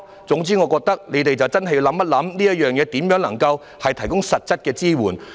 總言之，我覺得政府要認真考慮如何能夠向長者提供實質支援。